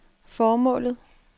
formålet